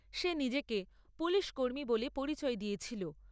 সে নিজেকে পুলিশকর্মী বলে পরিচয় দিয়েছিল।